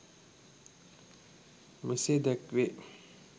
මෙසේ දැක්වේ.